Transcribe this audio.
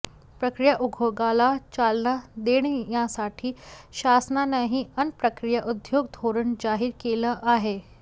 प्रक्रिया उद्योगाला चालना देण्यासाठी शासनानंही अन्न प्रक्रिया उद्योग धोरण जाहीर केलं आहे